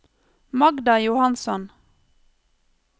Magda Johansson